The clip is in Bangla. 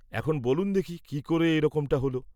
এখন বলুন দেখি কি ক'রে এ রকমটা হোলো?